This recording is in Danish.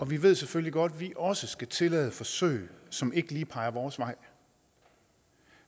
vi ved selvfølgelig godt at vi også skal tillade forsøg som ikke lige peger vores vej